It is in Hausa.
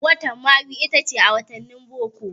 Watan Mayu itace ta biyar a wattanin boko.